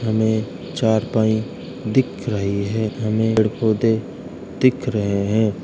हमें चारपाई दिख रही है हमें पेड़ पौधे दिख रहे हैं।